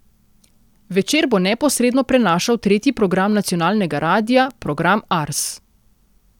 Večer bo neposredno prenašal tretji program nacionalnega radia, program Ars.